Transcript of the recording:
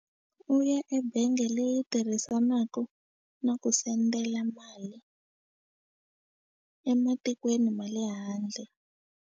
U ya ebenge leyi tirhisanakau na ku sendela mali ematikweni ma le handle.